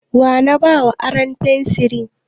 Wa na ba aron fensiri?